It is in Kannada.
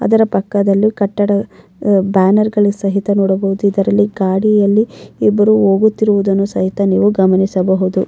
ಅದರ ಪಕ್ಕದಲ್ಲಿ ಕಟ್ಟಡ ಬ್ಯಾನರ್ ಗಳು ಸಹಿತ ನೋಡಬಹುದು ಇದರಲ್ಲಿ ಗಾಡಿಯಲ್ಲಿ ಇಬ್ಬರು ಹೋಗುತ್ತಿರುವುದನ್ನು ಸಹಿತ ನೀವು ಗಮನಿಸಬಹುದು.